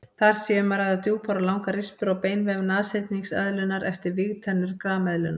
Þar sé um að ræða djúpar og langar rispur á beinvef nashyrningseðlunnar eftir vígtennur grameðlunnar.